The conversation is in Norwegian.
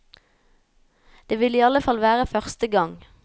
Det ville i alle fall være første gang.